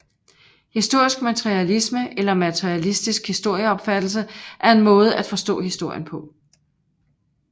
Historisk materialisme eller materialistisk historieopfattelse er en måde at forstå historien på